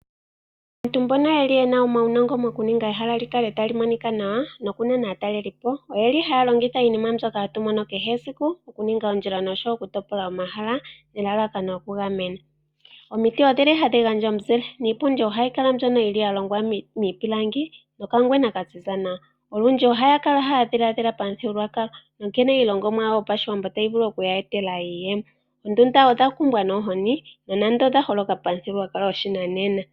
Aantu mbono yeli yena omawunongo mokuninga ehala likale talimonika nawa noku nana aatalelipo oyeli haya longitha iinima mbyoka hatu mono kehe esiku okuninga oondjila noshowo okutopola omahala nelalakano lyoku gamena. Omiti odhili hadhi gandja omuzile niipundi ohayi kala nduno ya longwa miipilangi nokangwena kaziza nawa. Olundji ohaya kala haya dhiladhila pamuthigululwakalo nkene iilongomwa yawo yopashiwamo tayi vulu oku ya etela iiyemo . Oondunda odhakumbwa noohozi nonando odhaholokapo pamuthigululwakalo gopashinanena.